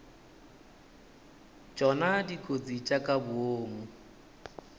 tšona dikotsi tša ka boomo